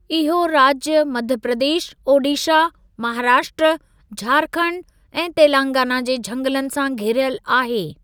इहो राज्य मध्य प्रदेश, ओडिशा, महाराष्ट्र, झारखंड ऐं तेलंगाना जे झंगलनि सां घिरियल आहे।